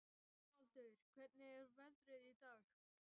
Dómaldur, hvernig er veðrið í dag?